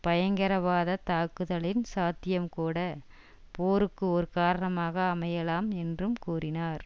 பயங்கரவாதத் தாக்குதலின் சாத்தியம் கூட போருக்கு ஒரு காரணமாக அமையலாம் என்றும் கூறினார்